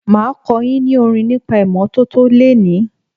Máa kọ́ yín ní orin nípa ìmọ́tọ́tọ́ lení.